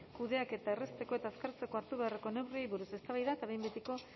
kudeaketa errazteko eta azkartzeko hartu beharreko neurriei buruz eztabaida eta behin betiko